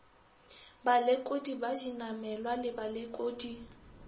balekodi ba dinamelwa le balekodi